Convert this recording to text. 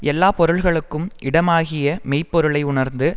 எல்லா பொருள்களுக்கும் இடமாகிய மெய் பொருளை உணர்ந்து